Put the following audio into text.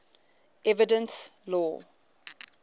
evidence law